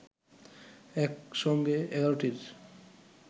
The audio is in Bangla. একসঙ্গে ১১টির